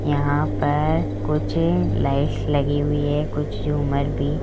यहां पर कुछ लाइट्स लगी हुई है कुछ झूमर भी--